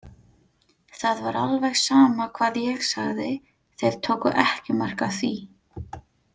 Það var alveg sama hvað ég sagði, þeir tóku ekki mark á því.